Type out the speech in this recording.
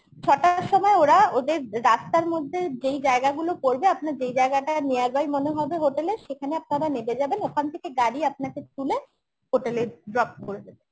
ছটার সময় ওরা ওদের রাস্তার মধ্যে যেই জায়গাগুলো পড়বে আপনার যেই জায়গাটা near by মনে হবে hotel এর সেখানে আপনারা নেবে যাবেন ওখান থেকে গাড়ি আপনাকে তুলে hotel এ drop করে দেবে